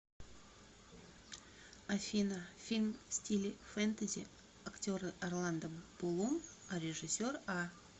афина фильм в стиле фентези актеры орландо блум а режиссер а